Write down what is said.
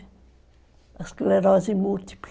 A esclerose múltipla.